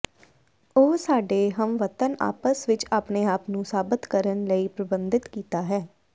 ਉਹ ਸਾਡੇ ਹਮਵਤਨ ਆਪਸ ਵਿੱਚ ਆਪਣੇ ਆਪ ਨੂੰ ਸਾਬਤ ਕਰਨ ਲਈ ਪਰਬੰਧਿਤ ਕੀਤਾ ਹੈ